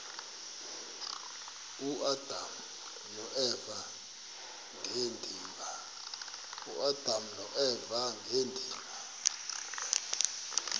uadam noeva ngedinga